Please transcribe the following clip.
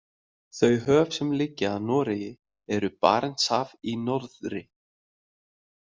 Þau höf sem liggja að Noregi eru Barentshaf í norðri.